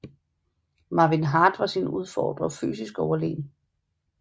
Marvin Hart var sin udfordrer fysisk overlegen